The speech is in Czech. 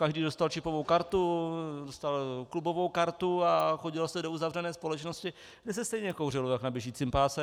Každý dostal čipovou kartu, dostal klubovou kartu a chodilo se do uzavřené společnosti, kde se stejně kouřilo jak na běžícím páse.